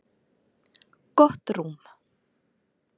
Gott rúm